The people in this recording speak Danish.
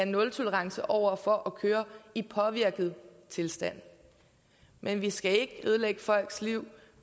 nultolerance over for at køre i påvirket tilstand men vi skal ikke ødelægge folks liv